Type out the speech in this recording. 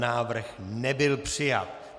Návrh nebyl přijat.